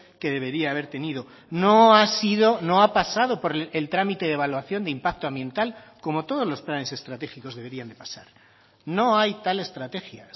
que debería haber tenido no ha sido no ha pasado por el trámite de evaluación de impacto ambiental como todos los planes estratégicos deberían de pasar no hay tal estrategia